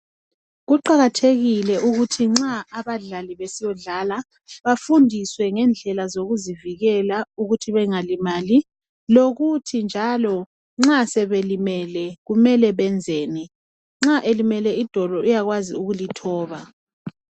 Kuqakathekile ukuthi nxa abadlali besiyadlala befundiswe ngendlela zokuzivikela ukuthi Bengalimali, lokuthi nxa sebelimele kumele benzeni. Nxa elimele idolo uyakwazi ukulithoba.